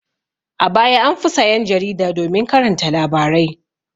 A baya an fi sayan jarida domin karanta labarai.